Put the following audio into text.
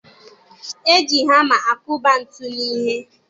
E ji Hama akụba ntu n'ihe.